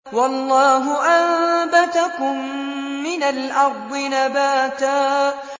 وَاللَّهُ أَنبَتَكُم مِّنَ الْأَرْضِ نَبَاتًا